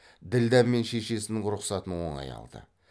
ділдә мен шешесінің рұхсатын оңай алды